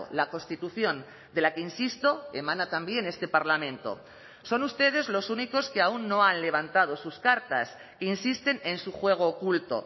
la constitución de la que insisto emana también este parlamento son ustedes los únicos que aún no han levantado sus cartas insisten en su juego oculto